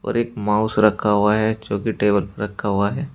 और एक माउस रखा हुआ है जोकि टेबल पर रखा हुआ है।